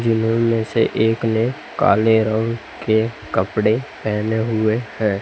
में से एक ने काले रंग के कपड़े पहने हुए हैं।